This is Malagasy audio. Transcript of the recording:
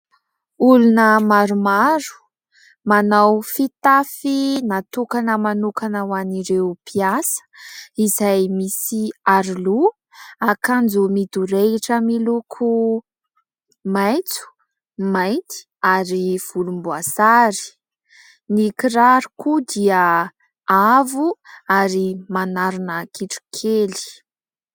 Olona maromaro, manao fitafy natokana manokana ho an'ireo mpiasa izay misy aroloha, akanjo midorehitra miloko maitso, mainty ary volomboasary. Ny kiraro koa dia avo ary manarina kitrokely.